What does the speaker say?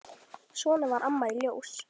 Svona var Amma í Ljós.